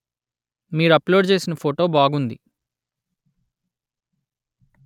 మీరు అప్లోడ్ చేసిన ఫోటో బాగుంది